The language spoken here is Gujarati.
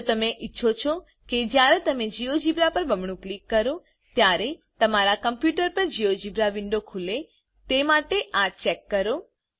જો તમે ઈચ્છો છો કે જયારે તમે જીઓજીબ્રા પર બમણું ક્લિક કરો ત્યારે તમારા કમ્પુટર પર જીઓજીબ્રા વિન્ડો ખુલે તે માટે આ ચેક કરો